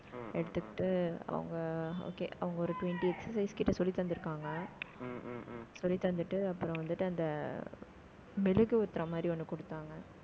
எடுத்துக்கிட்டு, அவங்க okay அவங்க ஒரு twenty exercise கிட்ட சொல்லி தந்திருக்காங்க. சொல்லி தந்துட்டு அப்புறம் வந்துட்டு, அந்த ஆஹ் மெழுகு ஊத்துற மாதிரி, ஒண்ணு கொடுத்தாங்க